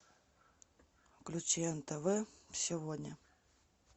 включи нтв сегодня